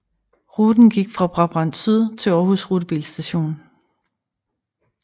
Ruten gik fra Brabrand Syd til Aarhus Rutebilstation